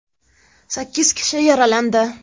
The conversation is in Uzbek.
Sakkiz kishi yaralandi.